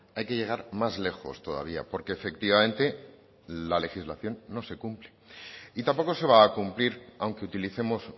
hay que llegar más lejos todavía porque efectivamente la legislación no se cumple y tampoco se va a cumplir aunque utilicemos